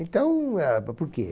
Então, eh, por por quê?